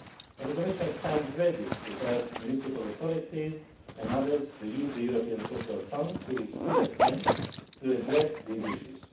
The Commission stands ready to help municipal authorities and others to use the European Social Fund to its full extent to address those issues.